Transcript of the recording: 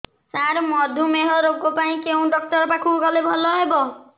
ସାର ମଧୁମେହ ରୋଗ ପାଇଁ କେଉଁ ଡକ୍ଟର ପାଖକୁ ଗଲେ ଭଲ ହେବ